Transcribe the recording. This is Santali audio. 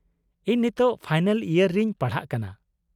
-ᱤᱧ ᱱᱤᱛᱳᱜ ᱯᱷᱟᱭᱱᱟᱞ ᱤᱭᱟᱨ ᱨᱤᱧ ᱯᱟᱲᱦᱟᱜ ᱠᱟᱱᱟ ᱾